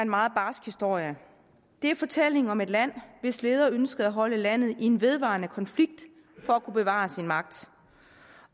meget barsk historie det er fortællingen om et land hvis leder ønskede at holde landet i en vedvarende konflikt for at kunne bevare sin magt